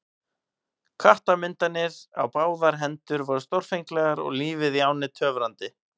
Klettamyndanir á báðar hendur voru stórfenglegar og lífið í ánni töfrandi.